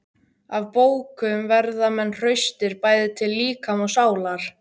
Af bókum verða menn hraustir, bæði til líkama og sálar.